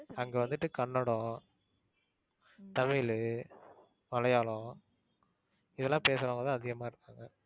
அங்க வந்துட்டு கன்னடம், தமிழு, மலையாளம் இதெல்லாம் பேசுறவங்க தான் அதிகமா இருப்பாங்க.